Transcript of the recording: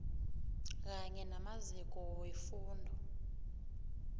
kanye namaziko wefundo